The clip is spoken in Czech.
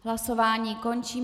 Hlasování končím.